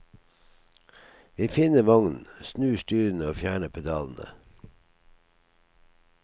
Vi finner vognen, snur styrene og fjerner pedalene.